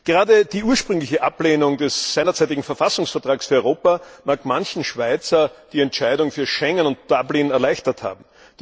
Gerade die ursprüngliche Ablehnung des seinerzeitigen Verfassungsvertrags für Europa mag manchem Schweizer die Entscheidung für Schengen und Dublin erleichtert haben.